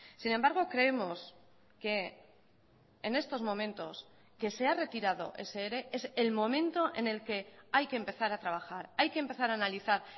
sin embargo creemos que en estos momentos que se ha retirado ese ere es el momento en el que hay que empezar a trabajar hay que empezar a analizar